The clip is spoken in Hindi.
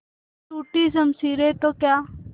टूटी शमशीरें तो क्या